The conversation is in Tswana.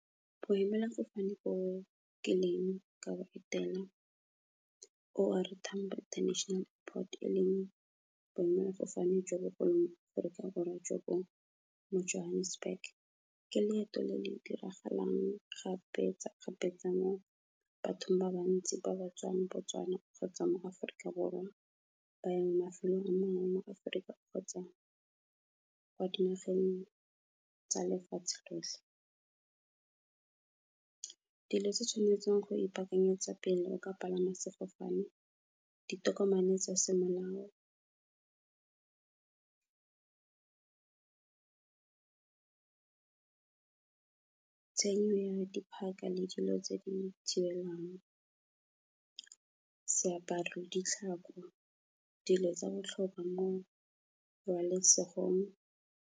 Boemelafofane bo nkileng ka bo etela, O R Tambo International Airport, e leng boemelafofane jo bogolo mo Aforika Borwa, jo bo mo Johannesburg. Ke leeto le le diragalang kgapetsa-kgapetsa mo bathong ba bantsi ba batswanang mo Botswana, kgotsa mo Aforika Borwa ba yang mafelong a mangwe mo Aforika, kgotsa kwa dinageng tsa lefatshe lotlhe. Dilo tse tshwanetseng go ipakanyetsa pele o ka palama sefofane, ditokomane tsa semolao, ya dipaka le dilo tse di thibelang, seaparo le ditlhako, dilo tsa botlhokwa mo pabalesegong.